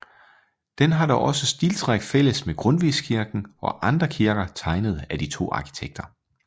Den har da også stiltræk fælles med Grundtvigskirken og andre kirker tegnet af de to arkitekter